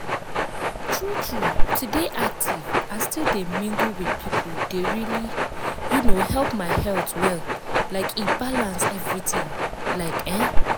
true true to dey active and still dey mingle with people dey really um help my health well like e balance everything like ehn.